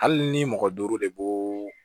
Hali ni mɔgɔ duuru de b'o